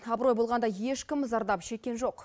абырой болғанда ешкім зардап шеккен жоқ